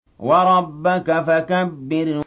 وَرَبَّكَ فَكَبِّرْ